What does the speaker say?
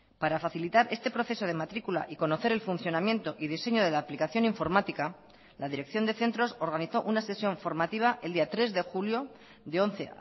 para facilitar este proceso de matrícula y conocer el funcionamiento y diseño de la aplicación informática la dirección de centros organizó una sesión formativa el día tres de julio de once